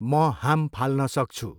म हाम फाल्न सक्छु।